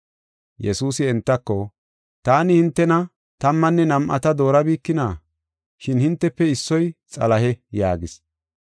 Yesuusi entako, “Taani hintena tammanne nam7ata doorabikina? Shin hintefe issoy Xalahe” yaagis.